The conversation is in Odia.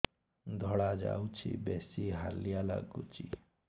ଧଳା ଯାଉଛି ବେଶି ହାଲିଆ ଲାଗୁଚି